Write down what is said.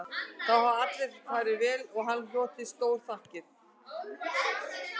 Þá hafði allt farið vel og hann hlotið stórþakkir